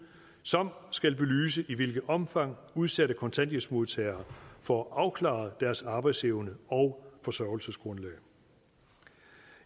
som skal belyse i hvilket omfang udsatte kontanthjælpsmodtagere får afklaret deres arbejdsevne og forsørgelsesgrundlag